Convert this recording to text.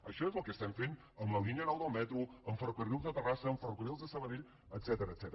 això és el que estem fent amb la línia nou del metro amb ferrocarrils a terras sa amb ferrocarrils a sabadell etcètera